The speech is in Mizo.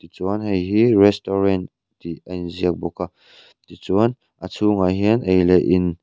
tichuan hei hi restaurant tih a inziak bawk a tichuan a chhungah hian ei leh in--